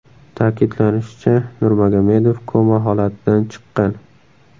Ta’kidlanishicha, Nurmagomedov koma holatidan chiqqan.